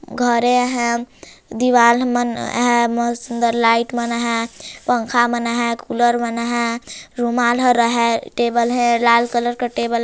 घरे हैं दीवाल मन हैं मस्त सुंदर लाइट मन हैं पंखा मन हैं कूलर मन हैं रूमाल र हैं टेबल हैं लाल कलर का टेबल --